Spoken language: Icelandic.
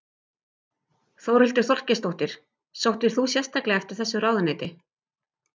Þórhildur Þorkelsdóttir: Sóttist þú sérstaklega eftir þessu ráðuneyti?